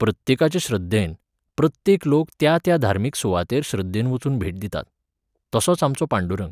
प्रत्येकाचे श्रद्धेन, प्रत्येक लोक त्या त्या धार्मीक सुवातेर श्रद्धेन वचून भेट दितात. तसोच आमचो पांडुरंग.